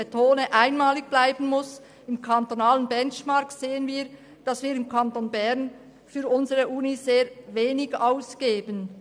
Dem interkantonalen Benchmark entnehmen wir, dass wir im Kanton Bern für unsere Universität sehr wenig ausgeben.